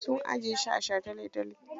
An ajiye shi a sha tale-tale.